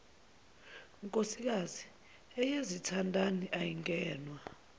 nkosikazi eyezithandani ayingenwa